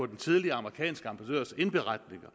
den tidligere ambassadørs indberetninger